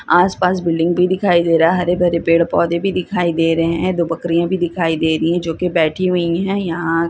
आस-पास बिल्डिंग भी दिखाई दे रहा है हरे-भरे पेड़-पौधे भी दिखाई दे रहे है दो बकरियां भी दिखाई दे रही है जो की बैठी हुई है। यहां--